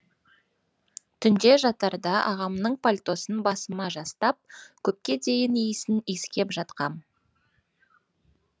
түнде жатарда ағамның пальтосын басыма жастап көпке дейін иісін иіскеп жатқам